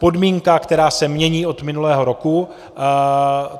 Podmínka, která se mění od minulého roku.